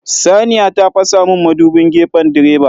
Saniya ta fasamin mudubin gefen direba.